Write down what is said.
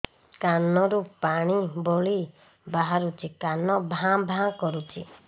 କାନ ରୁ ପାଣି ଭଳି ବାହାରୁଛି କାନ ଭାଁ ଭାଁ କରୁଛି